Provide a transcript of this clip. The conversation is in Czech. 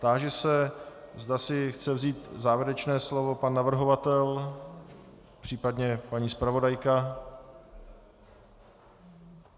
Táži se, zda si chce vzít závěrečné slovo pan navrhovatel, případně paní zpravodajka.